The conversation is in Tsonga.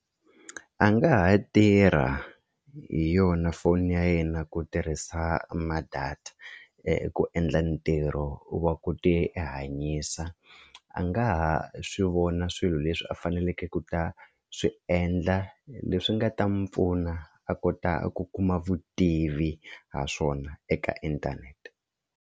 A nga ha tirha hi yona foni ya yena ku tirhisa ma-data ku endla ntirho wa ku tihanyisa a nga ha swi vona swilo leswi a faneleke ku ta swi endla leswi nga ta n'wi pfuna a kota ku kuma vutivi ha swona eka inthanete.